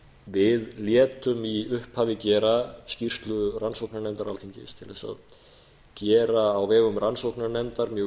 við létum í upphafi gera skýrslu rannsóknarnefndar alþingis til þess að gera á vegum rannsóknarnefndar mjög